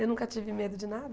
Eu nunca tive medo de nada.